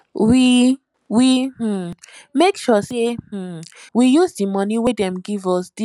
we um make sure sey um we use di money wey dem give use dig borehole